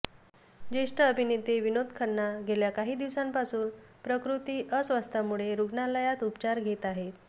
ज्येष्ठ अभिनेते विनोद खन्ना गेल्या काही दिवसांपासून प्रकृती अस्वास्थ्यामुळे रुग्णालयात उपचार घेत आहेत